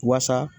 Wasa